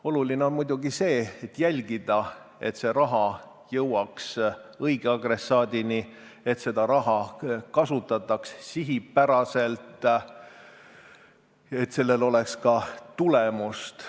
Oluline on muidugi jälgida, et raha jõuaks õige adressaadini, et raha kasutataks sihipäraselt, et sellel oleks ka tulemust.